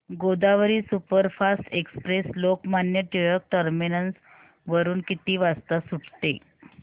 Godavari superfast express Lokmanya Tilak terminus वरून किती वाजता सुटते